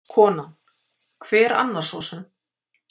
Konan: Hver annar sosum?